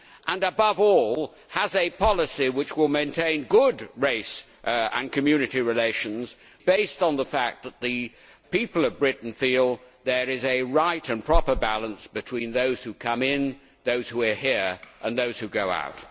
and, above all, a policy which will maintain good race and community relations, based on the fact that the people of Britain feel there is a right and proper balance between those who come in, those who are here and those who go out.